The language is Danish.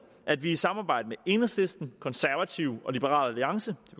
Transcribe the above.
at vi i samarbejde med enhedslisten konservative og liberal alliance